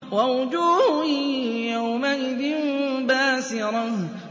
وَوُجُوهٌ يَوْمَئِذٍ بَاسِرَةٌ